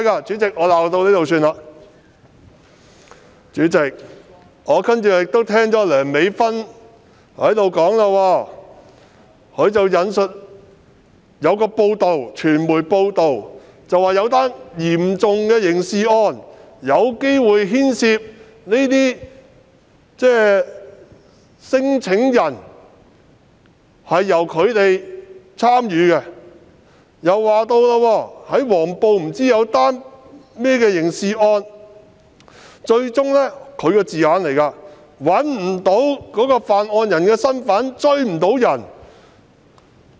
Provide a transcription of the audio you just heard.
主席，我接着又聽到梁美芬議員引述一篇傳媒報道，指出在一宗嚴重刑事案件中，可能有聲請人參與其事，又說黃埔曾發生一宗刑事案件，據她所說最終不能確定犯案人身份，無法追查。